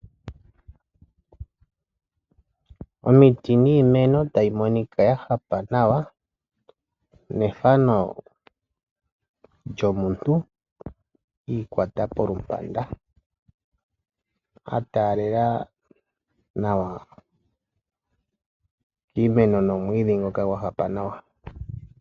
Omiti niimeno tayimonika ya hapa nawa, nethano djomuntu iikwata polupanda ataalela nawa kiimeno nomwiidhi ngoka gwahapa nawa.